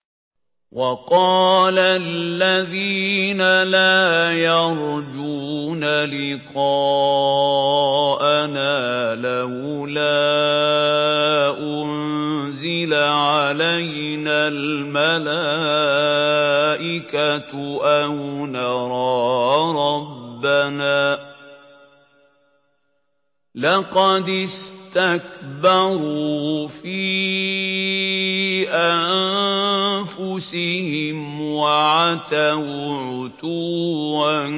۞ وَقَالَ الَّذِينَ لَا يَرْجُونَ لِقَاءَنَا لَوْلَا أُنزِلَ عَلَيْنَا الْمَلَائِكَةُ أَوْ نَرَىٰ رَبَّنَا ۗ لَقَدِ اسْتَكْبَرُوا فِي أَنفُسِهِمْ وَعَتَوْا عُتُوًّا